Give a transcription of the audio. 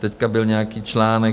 Teď byl nějaký článek.